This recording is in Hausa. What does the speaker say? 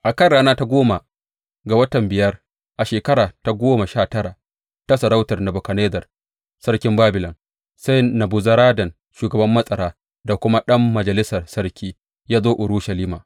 A kan rana ta goma ga watan biyar a shekara ta goma sha tara ta sarautar Nebukadnezzar, Sarkin Babilon, sai Nebuzaradan shugaban matsara da kuma ɗan majalisar sarki, ya zo Urushalima.